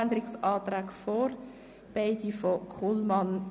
Die Sparmassnahme ist um 50 Prozent zu erhöhen.